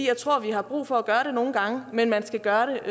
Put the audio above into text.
jeg tror vi har brug for at gøre det nogle gange men man skal gøre